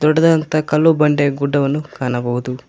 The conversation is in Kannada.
ದೊಡ್ಡದಾದಂತಹ ಕಲ್ಲು ಬಂಡೆ ಗುಡ್ಡವನ್ನು ಕಾಣಬಹುದು